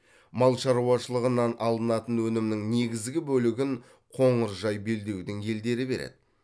мал шаруашылығынан алынатын өнімнің негізгі бөлігін қоңыржай белдеудің елдері береді